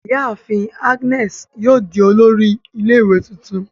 Iyaafin Agnes yoo di olori ile-iwe tuntun